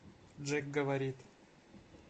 джек говорит